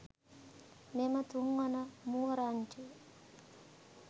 මෙම තුන්වන මුව රංචුව